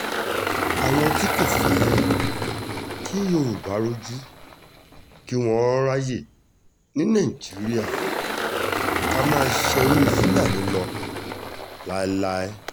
àwọn tí kò fẹ́ kí yorùbá rojú kí wọ́n ráàyè ní nàìjíríà ká máa ṣerú fúlàní lọ láéláé